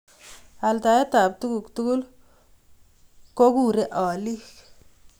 Altaet ab tuguk tugul kokurei alik